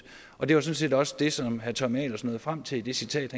og det var sådan set også det som herre tommy ahlers nåede frem til i det citat